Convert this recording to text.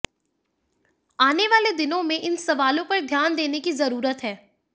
आने वाले दिनों में इन सवालों पर ध्यान देने की जरूरत है